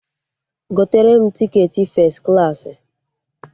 Gotere m tiketi fes klaasị!